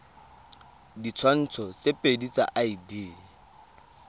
ditshwantsho tse pedi tsa id